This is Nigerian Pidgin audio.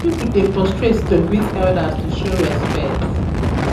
some pipo dey prostrate to greet elders to show respect